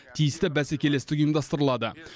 тиісті бәсекелестік ұйымдастырылады